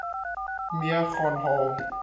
mee gaan haal